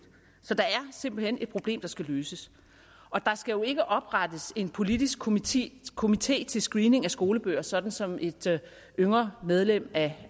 så der er simpelt hen et problem der skal løses der skal jo ikke oprettes en politisk komité komité til screening af skolebøger sådan som et yngre medlem af